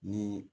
Ni